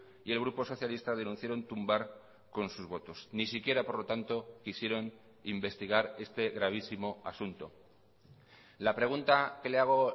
y el grupo socialista denunciaron tumbar con sus votos ni siquiera por lo tanto quisieron investigar este gravísimo asunto la pregunta que le hago